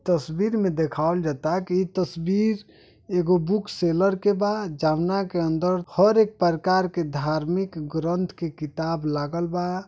तस्वीर में देखावल जाता। ई तस्वीर एगो बुक सेलर के बा। जोवना के अंदर हर एक प्रकर के धर्मी ग्रंथ के किताब लगल बा।